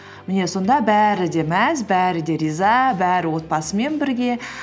міне сонда бәрі де мәз бәрі де риза бәрі отбасымен бірге